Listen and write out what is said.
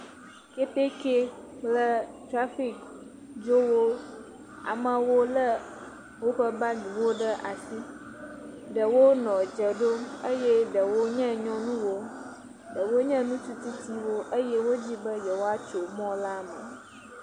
Keteke kple trafik dzrolowo, amawo lé woƒe bagiviwo ɖe asi, ɖewo nɔ dze ɖom eye ɖewo nye nyɔnuwo, ɖewo nye ŋutsu tsitysiwo eye wonɔ didim be yewoatso mɔ la me.